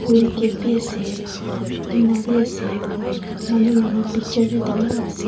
rail gate b ase tina b ase manu laka picture b dangor ase.